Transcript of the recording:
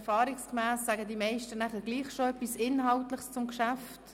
Erfahrungsgemäss sagen die meisten beim Eintreten bereits etwas Inhaltliches zum Geschäft.